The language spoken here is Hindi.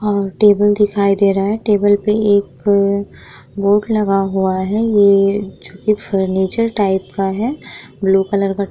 और टेबल दिखाई दे रहा है टेबल पे एक बोर्ड लगा हुआ है ये जो की फर्नीचर टाइप का है ब्लू कलर का।